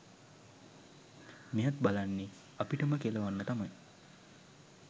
මෙයත් බලන්නෙ අපිටම කෙලවන්න තමයි